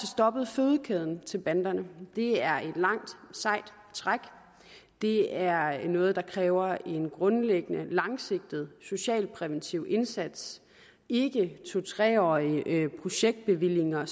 stoppet fødekæden til banderne det er et langt sejt træk det er noget der kræver en grundlæggende langsigtet socialpræventiv indsats ikke to tre årige projektbevillinger